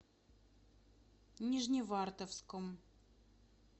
нижневартовском